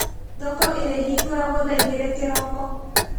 Thoko ĩrĩhingũragwo thaa igĩrĩ kĩroko